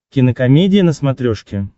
кинокомедия на смотрешке